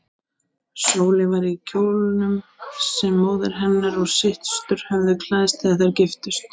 Sóley var í kjólnum sem móðir hennar og systur höfðu klæðst þegar þær giftust.